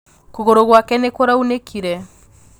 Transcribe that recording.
Kūgūrū gwake nī kūraunīkire.